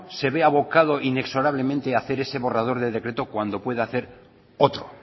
se ve abocado inexorablemente a hacer ese borrador del decreto cuando puede hacer otro